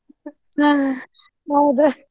ಹಾ ಹೌದ್.